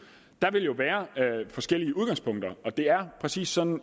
der vil jo være forskellige udgangspunkter og det er præcis sådan